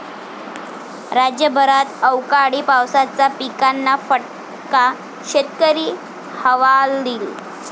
राज्यभरात अवकाळी पावसाचा पिकांना फटका, शेतकरी हवालदिल